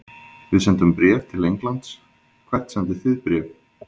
Við sendum bréf til Englands. Hvert sendið þið bréf?